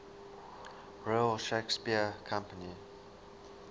royal shakespeare company